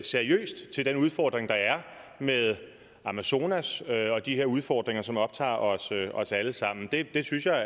seriøst til den udfordring der er med amazonas og de her udfordringer som optager os alle sammen det synes jeg